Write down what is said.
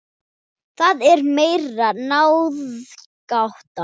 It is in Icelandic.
Það er mér ráðgáta